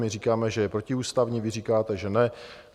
My říkáme, že je protiústavní, vy říkáte, že ne.